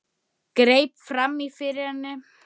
Jú, sögðum við örar.